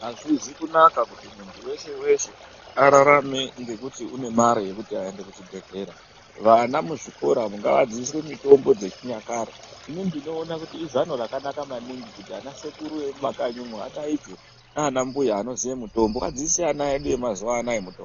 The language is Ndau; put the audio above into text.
Azvizi kunaka kuti muntu weshe-weshe ararame ngekuti une mare yekuti aende kuchibhedhlera. Vana muzvikora umo ngavadzidziswe mitombo dzechinyakare. Inini ndinoona kuti izano rakanaka maningi kuti ana sekuru vemumakanyi umo vadaidzwe, naambuya anoziye mutombo adzidzise ana edu emazuwa anaa mitombo.